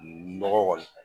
Mɔgɔ kɔni kaɲi